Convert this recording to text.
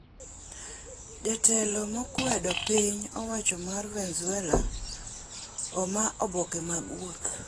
Jatelo makwedo piny owacho mar Venezwela omaa boke mag wuoth.